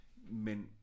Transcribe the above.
Men